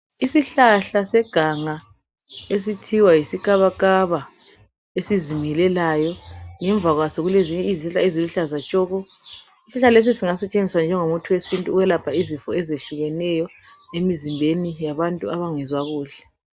Isihlahla seganga esithiwa yisikabakaba esizingelelayo. Ngemva kwaso kulezinye izihlahla eziluhlaza tshoko. Isihlahla lesi singasetshenziswa njengomuthi wesintu ukwelapha izifo ezehlukeneyo emizimbeni yabantu abangezwa kuhle.